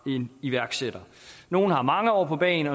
en iværksætter nogle har mange år på bagen